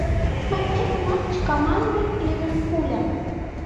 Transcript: смотреть матч команды ливерпуля